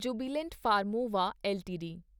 Jubilant Pharmova LTD